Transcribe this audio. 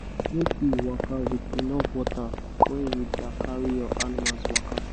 make u waka with enough water when you da carry your animals waka